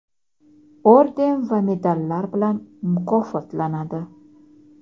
orden va medallar bilan mukofotlanadi!.